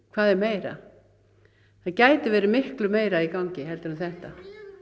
hvað er meira það gæti verið miklu meira í gangi heldur en þetta